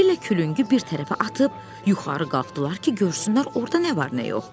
Belə külüngü bir tərəfə atıb, yuxarı qalxdılar ki, görsünlər orda nə var, nə yox.